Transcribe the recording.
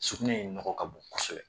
Surkunɛ in nɔgɔ ka bon kosɛbɛ.